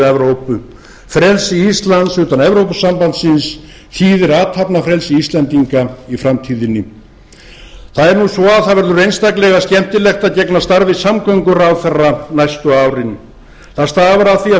evrópu frelsi íslands utan evrópusambandsins þýðir athafnafrelsi íslendinga í framtíðinni það er nú svo að það verður einstaklega skemmtilegt að gegna starfi samgönguráðherra næstu árin það stafar af því að